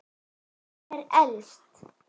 Hún er elst.